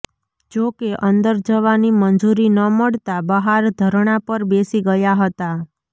જોકે અંદર જવાની મંજૂરી ન મળતાં બહાર ધરણા પર બેસી ગયા હતા